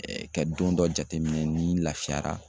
ka don dɔ jateminɛ ni n lafiyara